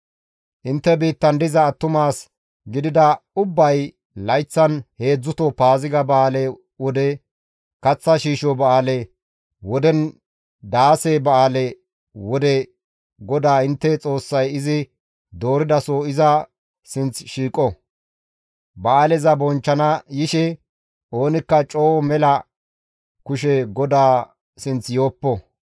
Intte biittan diza attuma as gidida ubbay layththan heedzdzuto Paaziga ba7aale wode, kaththa shiisho ba7aale wodenne daase ba7aale wode GODAA intte Xoossay izi dooridaso iza sinth shiiqo; ba7aaleza bonchchana yishe oonikka coo mela kushe GODAA sinth yooppo.